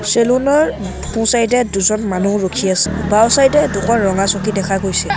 Salon ৰ সোঁ side এ দুজন মানুহ ৰখি আছে বাওঁ চাইড দুখন ৰঙা চকী দেখা গৈছে।